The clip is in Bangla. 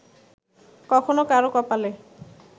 কখনো কারও কপালে